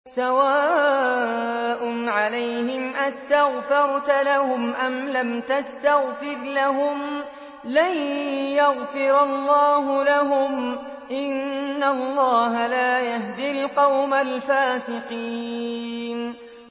سَوَاءٌ عَلَيْهِمْ أَسْتَغْفَرْتَ لَهُمْ أَمْ لَمْ تَسْتَغْفِرْ لَهُمْ لَن يَغْفِرَ اللَّهُ لَهُمْ ۚ إِنَّ اللَّهَ لَا يَهْدِي الْقَوْمَ الْفَاسِقِينَ